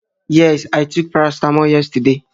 Yes, i took paracetamol yesterday